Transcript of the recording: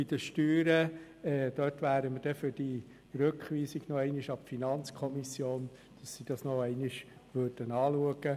Bei den Steuern ist die FDP-Fraktion für eine Rückweisung an die FiKo, damit sie dies noch einmal anschaut.